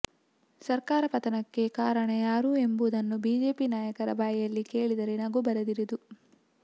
ಸರ್ಕಾರ ಪತನಕ್ಕೆ ಕಾರಣ ಯಾರು ಎಂಬುದನ್ನು ಬಿಜೆಪಿ ನಾಯಕರ ಬಾಯಲ್ಲಿ ಕೇಳಿದರೆ ನಗು ಬರದಿರದು